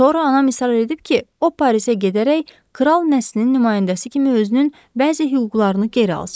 Sonra anam israr edib ki, o Parisə gedərək kral nəslinin nümayəndəsi kimi özünün bəzi hüquqlarını geri alsın.